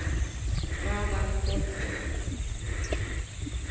Traðarkoti